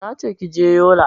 Nace kije yola